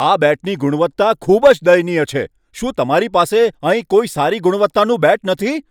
આ બેટની ગુણવત્તા ખૂબ જ દયનીય છે. શું તમારી પાસે અહીં કોઈ સારી ગુણવત્તાનું બેટ નથી?